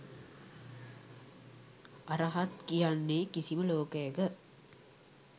අරහත් කියන්නේ කිසිම ලෝකයක